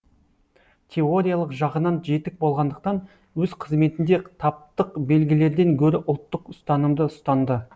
теориялық жағынан жетік болғандықтан өз қызметінде таптық белгілерден гөрі ұлттық ұстанымды ұстанды